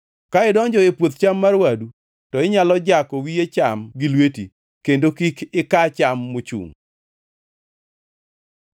Ka idonjo e puoth cham mar wadu, to inyalo jako wiye cham gi lweti, kendo kik ika cham mochungʼ.